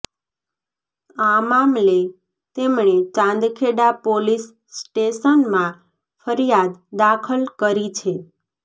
આ મામલે તેમણે ચાંદખેડા પોલીસ સ્ટેશનમાં ફરિયાદ દાખલ કરી છે